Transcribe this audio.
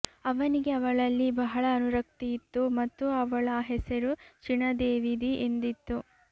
ಅವನಿಗೆ ಅವಳಲ್ಲಿ ಬಹಳ ಅನುರಕ್ತಿಯಿತ್ತು ಮತ್ತು ಅವಳ ಹೆಸರು ಚಿಣದೇವಿದಿ ಎಂದಿತ್ತು